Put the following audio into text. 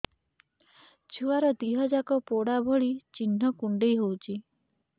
ଛୁଆର ଦିହ ଯାକ ପୋଡା ଭଳି ଚି଼ହ୍ନ କୁଣ୍ଡେଇ ହଉଛି